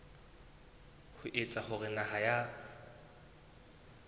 ho etsa hore naha ya